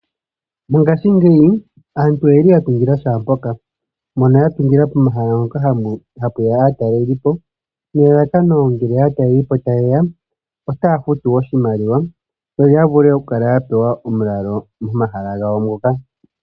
Mongashingeyi aantu oye li ya tungila shaa mpoka mono ya tungila pomahala mpoka hapu ya aatalelipo nelalakano ngele aatalelipo taye ya otaya futu oshimaliwa yo ya vule okukala ya pewa omulalo momahala gawo moka.